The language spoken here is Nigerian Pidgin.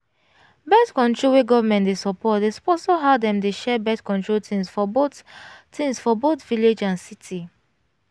birth-control wey government dey support dey sponsor how dem dey share birth-control things for both things for both village and city